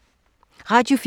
Radio 4